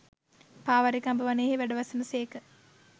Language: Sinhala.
පාවාරික අඹ වනයෙහි වැඩවසන සේක